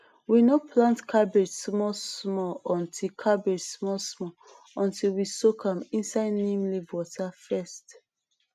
we no plant cabbage smallsmall until cabbage smallsmall until we soak am inside neem leaf water first